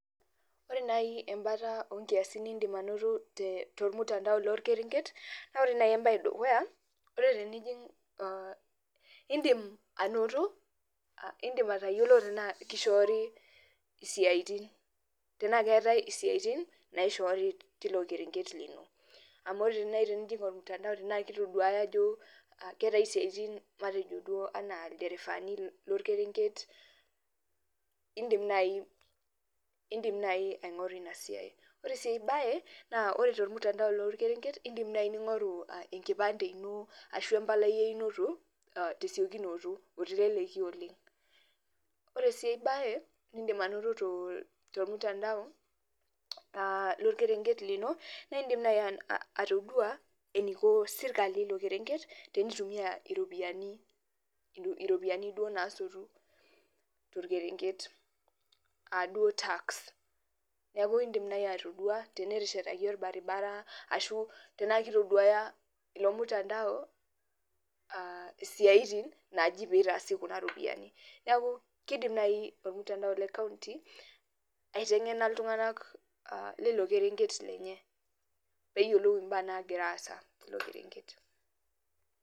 Ore nai embae mbata onkiasin nindim ainoto tormutandao lorkerenket na ore embae edukuya indim atayiolo anaa kishoori siatin anaa keetae siatin naishoori tilo kerenket lino amu tenijing ormutandao anaa keetae siatin anaa ilderefani lorkerenket indim nai aingoru inasiai ore si enkae ebae ore tormutandao lorkerenket indim nai aingoru enkipande ino ashu embalai einoto tesiokinoto oleng ore si enkae bae nindim ainoto tormutandao lorkerenket lino na indim nai ataduo na niko serkali ilo kerenket enegira aikunari ropiyani nasotu torkenket neaku indim nai ataduo teneteshetaki orbaribara tanaa kitaduaya elemutandao aitaduaya siatin napoitoi aitengena ltunganak lilo kerenket peyiolou mbaa nagira aasa tilo kerenket